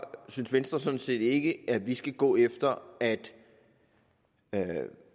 synes venstre sådan set ikke at vi skal gå efter at